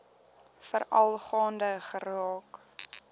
veral gaande geraak